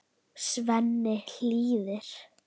Svenni hlýðir.